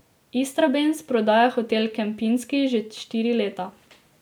Istrabenz prodaja Hotel Kempinski že štiri leta.